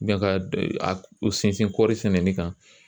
ka a sinsin kɔɔri sɛnɛni kan